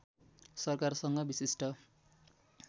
सरकारसँग विशिष्ट